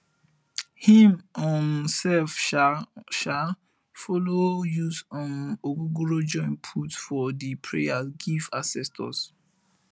him um sef go um um follow use um ogogoro join put for di prayer giv ancestors